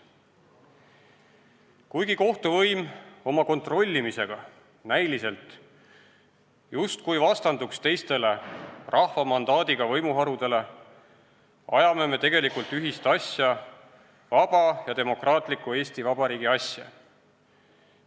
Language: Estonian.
Kuigi kohtuvõim oma kontrollimisega näiliselt justkui vastanduks teistele, rahva mandaadiga võimuharudele, ajame me tegelikult ühist asja, vaba ja demokraatliku Eesti Vabariigi asja.